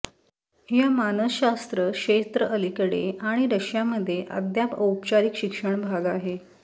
या मानसशास्त्र क्षेत्र अलीकडे आणि रशिया मध्ये अद्याप औपचारिक शिक्षण भाग आहे